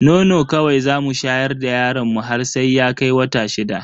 Nono kawai zamu shayar da yaron mu har sai ya kai wata shida.